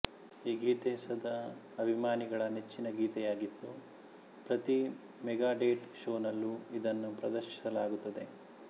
ಈ ಗೀತೆ ಸದಾ ಅಭಿಮಾನಿಗಳ ನೆಚ್ಚಿನ ಗೀತೆಯಾಗಿದ್ದು ಪ್ರತಿ ಮೆಗಾಡೆಟ್ ಶೋನಲ್ಲೂ ಇದನ್ನು ಪ್ರದರ್ಶಿಸಲಾಗುತ್ತದೆ